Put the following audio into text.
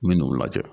N bi n'u lajɛ